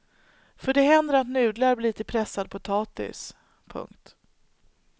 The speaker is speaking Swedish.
För det händer att nudlar blir till pressad potatis. punkt